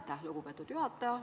Aitäh, lugupeetud juhataja!